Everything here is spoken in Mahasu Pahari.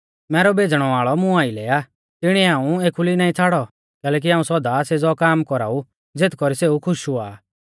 मैरौ भेज़णै वाल़ौ मुं आइलै आ तिणीऐ हाऊं एखुली नाईं छ़ाड़ौ कैलैकि हाऊं सौदा सेज़ौ काम कौराऊ ज़ेथ कौरी सेऊ खुश हुआ आ